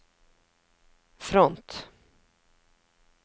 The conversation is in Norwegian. front